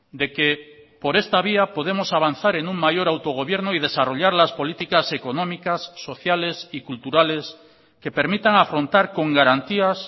de que por esta vía podemos avanzar en un mayor autogobierno y desarrollar las políticas económicas sociales y culturales que permitan afrontar con garantías